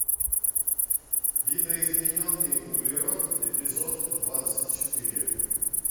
видоизмененный углерод эпизод двадцать четыре